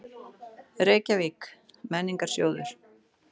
Reykjavík: Menningarsjóður.